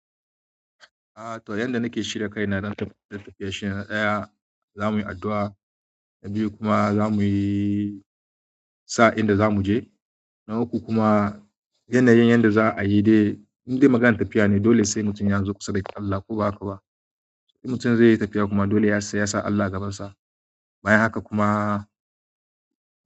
A to yanda nake shirya kai na don tafiye tafiye shine na ɗaya za muyi addu'a, na biyu kuma za muyi sa'in da za muje, na uku kuma yanayin yanda za a yi dai indai maganar tafiya ne dole sai mutum ya zo kusa da Allah ko ba haka ba? In mutum zai yi tafiya kuma dole sai yasa Allah a gabansa. Bayan haka kuma.